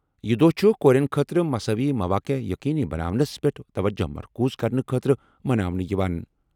یہِ دۄہ چھُ کورٮ۪ن خٲطرٕ مساوی مواقع یقینی بناونس پٮ۪ٹھ توجہ مرکوز کرنہٕ خٲطرٕ مناونہٕ یِوان۔